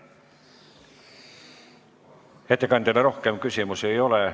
Ettekandjale rohkem küsimusi ei ole.